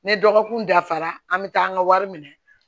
Ni dɔgɔkun dafara an bɛ taa an ka wari minɛ